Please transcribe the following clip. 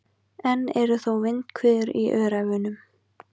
Enn eru þó vindhviður í Öræfunum